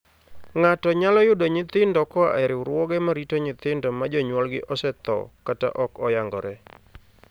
Ng'ato nyalo yudo nyithindo koa e riwruoge ma rito nyithindo ma jonyuolgi osethoo kata ok oyangore.